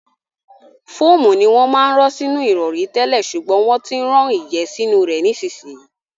Fóòmù ni wọ́n máa ń rán sínú ìrọ̀rí tẹ́lẹ̀ ṣùgbọ́n wọ́n ti ń rán ìyẹ́ sínú rẹ̀ nísìnyí.